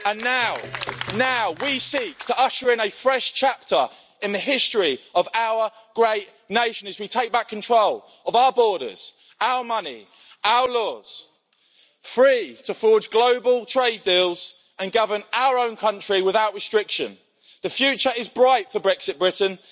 And now we seek to usher in a fresh chapter in the history of our great nation as we take back control of our borders, our money, our laws free to forge global trade deals and govern our own country without restriction. The future is bright for Brexit Britain.